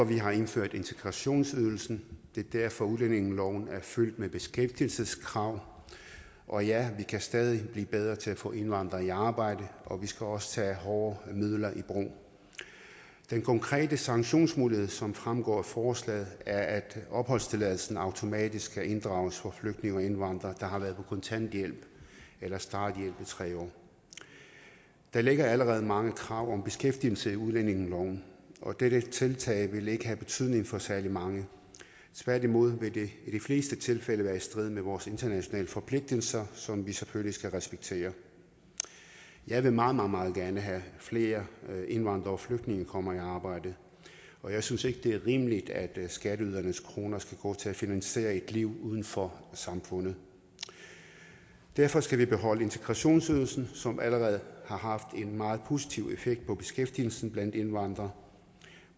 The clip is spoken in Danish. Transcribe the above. vi har indført integrationsydelsen det er derfor udlændingeloven er fyldt med beskæftigelseskrav og ja vi kan stadig blive bedre til at få indvandrere i arbejde og vi skal også tage hårde midler i brug den konkrete sanktionsmulighed som fremgår af forslaget er at opholdstilladelsen automatisk skal inddrages for flygtninge og indvandrere der har været på kontanthjælp eller starthjælp i tre år der ligger allerede mange krav om beskæftigelse i udlændingeloven og dette tiltag vil ikke have betydning for særlig mange tværtimod vil det i de fleste tilfælde være i strid med vores internationale forpligtelser som vi selvfølgelig skal respektere jeg vil meget meget gerne have flere indvandrere og flygtninge kommer i arbejde og jeg synes ikke det er rimeligt at skatteydernes kroner skal gå til at finansiere et liv uden for samfundet derfor skal vi beholde integrationsydelsen som allerede har haft en meget positiv effekt på beskæftigelsen blandt indvandrere